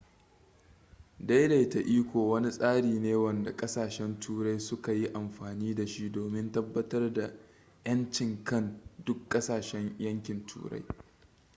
daidaita iko wani tsari ne wanda kasashen turai suka yi amfani da shi domin tabbatar da ƴancinkan duk ƙasshen yankin turai